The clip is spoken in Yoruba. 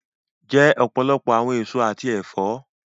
Jẹ ọpọlọpọ̀ awọn èsọ̀ àti ẹ̀fọ̀!